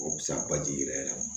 O bi se ka baji yɛrɛ yɛrɛ